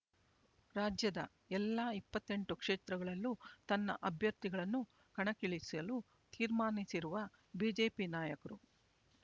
ರಾಜ್ಯದ ಎಲ್ಲಾ ಇಪ್ಪತ್ತೆಂಟು ಕ್ಷೇತ್ರಗಳಲ್ಲೂ ತನ್ನ ಅಭ್ಯರ್ಥಿಗಳನ್ನು ಕಣಕ್ಕಿಳಿಸಲು ತೀರ್ಮಾನಿಸಿರುವ ಬಿಜೆಪಿ ನಾಯಕರು